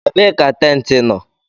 Ebee ka teneti nọ?